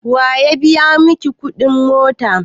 Waya biya miki kudin mota?